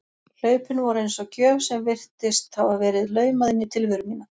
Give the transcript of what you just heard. Hlaupin voru eins og gjöf sem virtist hafa verið laumað inn í tilveru mína.